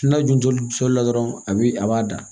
N'a dun toli la dɔrɔn a bi a b'a da